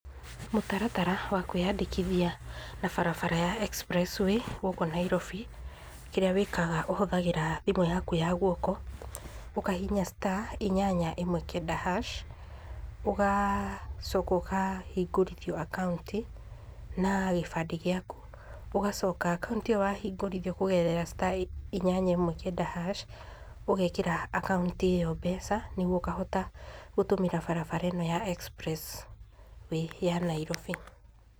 Mũtaratara wa kwĩyandĩkithia na barabara ya Express Way gũkũ Nairobi, kĩrĩa wĩkaga ũhũthagĩra thimũ yaku ya guoko, ũkahihinya star, inyanya, ĩmwe, kenda, hash ũgacoka ũkahingũrithio akaunti, na gĩbandĩ gĩaku, ũgacoka akaunti ĩyo wahingũrithio kũgerera star, inyanya ĩmwe, kenda, hash, ũgekĩra akaunti ĩyo mbeca, nĩguo ũkahota gũtũmĩra barabara ĩno ya Express Way ya Nairobi.